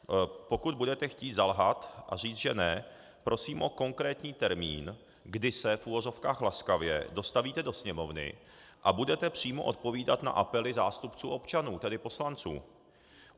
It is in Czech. Pokud budete chtít zalhat a říct, že ne, prosím o konkrétní termín, kdy se v uvozovkách laskavě dostavíte do Sněmovny a budete přímo odpovídat na apely zástupců občanů, tedy poslanců.